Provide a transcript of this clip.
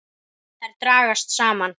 Þær dragast saman.